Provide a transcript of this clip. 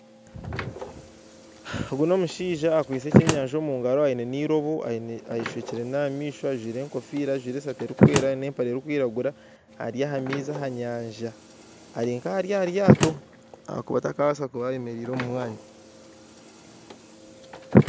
Ogu n'omushaija akwatsire ekyenyanja omugaro aine n'iroobo ayeshwekire n'amaisho ajwire egofiira ajwire esaati erikwera n'empare erikwiragura ari aha maizi aha nyanja erinka ari aha ryaato ahabw'okuba takabaasa kuba ayemereire omu mwanya